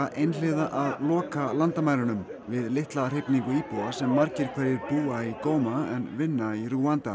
einhliða að loka landamærunum við litla hrifningu íbúa sem margir hverjir búa í Goma en vinna í Rúanda